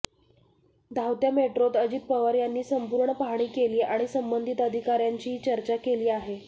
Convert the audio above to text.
धावत्या मेट्रोत अजित पवार यांनी संपूर्ण पाहणी केली आणि संबंधित अधिकाऱ्यांचीही चर्चा केली आहे